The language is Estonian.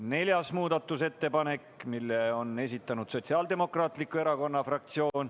Neljanda muudatusettepaneku on esitanud Sotsiaaldemokraatliku Erakonna fraktsioon.